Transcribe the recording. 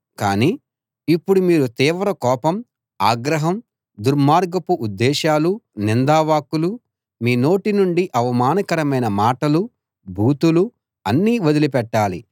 కానీ ఇప్పుడు మీరు తీవ్ర కోపం ఆగ్రహం దుర్మార్గపు ఉద్దేశాలు నిందా వాక్కులు మీ నోటి నుండి అవమానకరమైన మాటలు బూతులు అన్నీ వదిలి పెట్టాలి